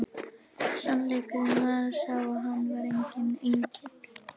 Sannleikurinn var sá að hann var enginn engill!